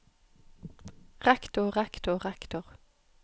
rektor rektor rektor